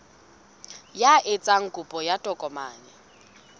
ya etsang kopo ya tokomane